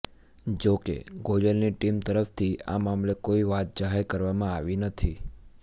જો કે ગોયલની ટીમ તરફથી આ મામલે કોઈ વાત જાહેર કરવામાં આવી નથી